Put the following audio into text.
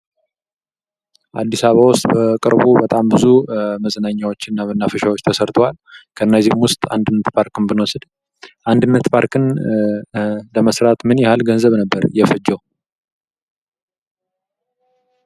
አድስ አበባ ውስጥ በቅርቡ በጣም ብዙ መዝናኛዎች እና መናፈሻዎች ተሰርተዋል። ከነዚህም ውስጥ አንድነት ፓርክን ብንወስድ አንድነት ፓርክ ለመስራት ምን ያህል ገንዘብ ነበር የፈጀው?